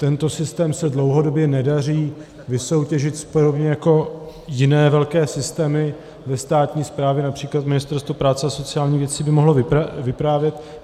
Tento systém se dlouhodobě nedaří vysoutěžit, podobně jako jiné velké systémy ve státní správě, například Ministerstvo práce a sociálních věcí by mohlo vyprávět.